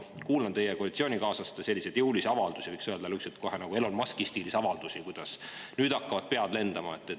Ma kuulan teie koalitsioonikaaslaste selliseid jõulisi avaldusi, võiks öelda, Elon Muski stiilis avaldusi, kuidas nüüd hakkavad pead lendama.